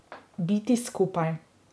Biti skupaj.